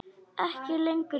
Ekki lengur ljót.